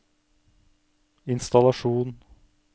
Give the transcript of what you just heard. innstallasjon